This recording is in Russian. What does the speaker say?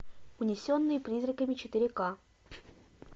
унесенные призраками четыре ка